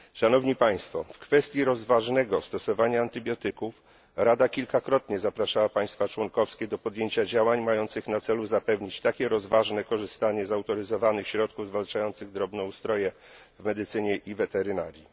W kwestii rozważnego stosowania antybiotyków Rada kilkakrotnie zapraszała państwa członkowskie do podjęcia działań mających na celu zapewnienie takiego rozważnego korzystania z autoryzowanych środków zwalczających drobnoustroje w medycynie i weterynarii.